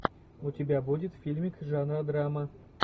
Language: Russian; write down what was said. у тебя будет фильмик жанра драма